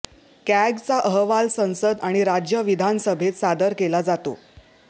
कॅगचा अहवाल संसद आणि राज्य विधानसभेत सादर केला जातो